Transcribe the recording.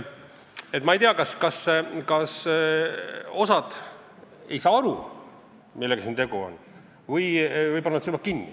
Ma ei tea, kas osa ei saa aru, millega siin tegu on, või panevad silmad kinni.